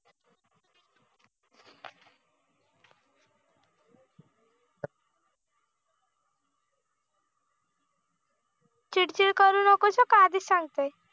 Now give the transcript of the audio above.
आधीच सांगते